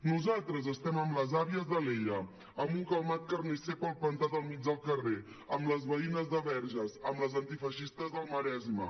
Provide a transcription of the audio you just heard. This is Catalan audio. nosaltres estem amb les àvies d’alella amb un calmat carnisser palplantat al mig del carrer amb les veïnes de verges amb les antifeixistes del maresme